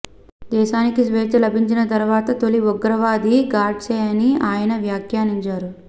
దేశానికి స్వేచ్ఛ లభించిన తరువాత తొలి ఉగ్రవాది గాడ్సేనని ఆయన వ్యాఖ్యానించారు